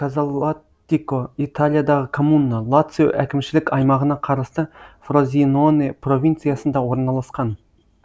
казалаттико италиядағы коммуна лацио әкімшілік аймағына қарасты фрозиноне провинциясында орналасқан